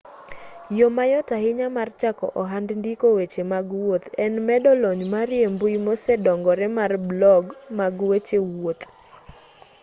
yo mayot ahinya mar chako ohand ndiko weche mag wuoth en medo lony mari e mbui mosedongore mar blog mag weche wuoth